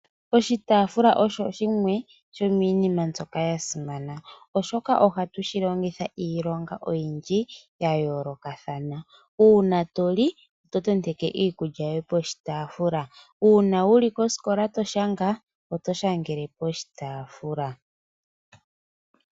Oshitaafula osho shimwe shomiinima mbyoka ya simana. Oshoka ohatu shi longitha iilonga oyindji ya yoolokathana. Uuna to li, to tendeke iikulya yoye poshi taafula. Uuna wu li kosikola to shanga, oto shangele koshitaafula.